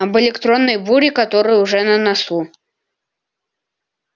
об электронной буре которая уже на носу